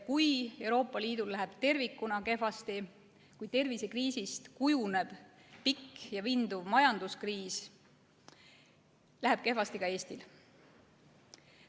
Kui Euroopa Liidul läheb tervikuna kehvasti, kui tervisekriisist kujuneb pikk ja vinduv majanduskriis, siis läheb kehvasti ka Eestil.